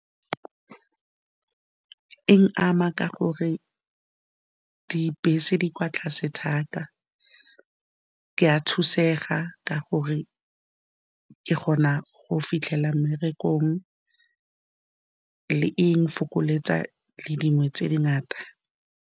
E nkama ka gore dibese di kwa tlase thata, ke a thusega ka gore ke kgona go fitlhela mmerekong le e nfokoletsa le dingwe tse dingata.